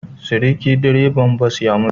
Seriki direban bas ya mutu